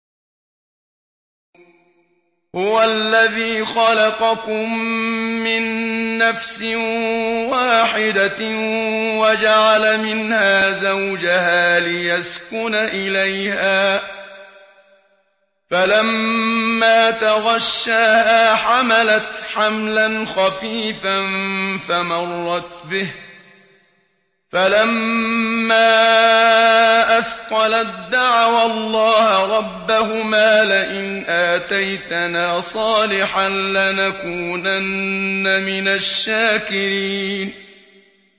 ۞ هُوَ الَّذِي خَلَقَكُم مِّن نَّفْسٍ وَاحِدَةٍ وَجَعَلَ مِنْهَا زَوْجَهَا لِيَسْكُنَ إِلَيْهَا ۖ فَلَمَّا تَغَشَّاهَا حَمَلَتْ حَمْلًا خَفِيفًا فَمَرَّتْ بِهِ ۖ فَلَمَّا أَثْقَلَت دَّعَوَا اللَّهَ رَبَّهُمَا لَئِنْ آتَيْتَنَا صَالِحًا لَّنَكُونَنَّ مِنَ الشَّاكِرِينَ